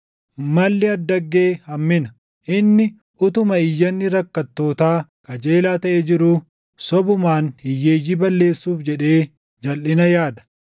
Malli addaggee hammina; inni utuma iyyanni rakkattootaa qajeelaa taʼee jiruu sobumaan hiyyeeyyii balleessuuf jedhee jalʼina yaada.